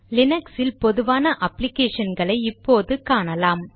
லீனக்ஸில் பொதுவான அப்ளிகேஷன் களை இப்போது காணலாம்